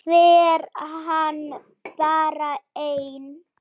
Fer hann bara einn?